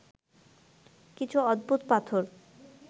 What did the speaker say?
কিছু অদ্ভুত পাথর